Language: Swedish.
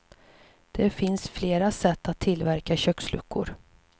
Det finns flera sätt att tillverka köksluckor.